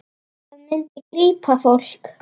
Það myndi grípa fólk.